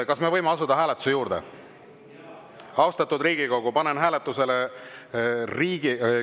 Kas me võime asuda hääletuse juurde?